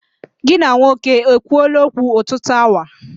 Gị na nwoke e kwuoola okwu ọtụtụ awa?